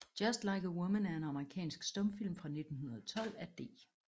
Just Like a Woman er en amerikansk stumfilm fra 1912 af D